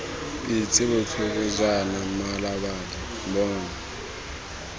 pitse botlhoko jaana mmalabadi bona